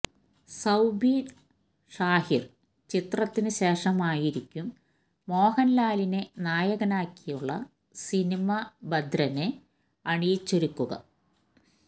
സൌബിന് ഷാഹിര് ചിത്രത്തിനു ശേഷമായിരിക്കും മോഹന്ലാലിനെ നായകനാക്കിയുളള സിനിമ ഭദ്രന് അണിയിച്ചൊരുക്കുക